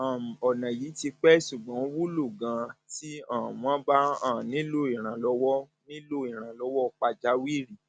um ọnà yìí ti pẹ ṣùgbọn ó wúlò ganan tí um wọn bá um nílò ìrànlọwọ nílò ìrànlọwọ pàjáwìrì